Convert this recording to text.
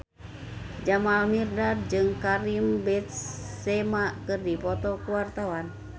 Jamal Mirdad jeung Karim Benzema keur dipoto ku wartawan